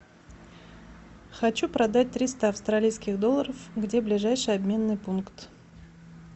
хочу продать триста австралийских долларов где ближайший обменный пункт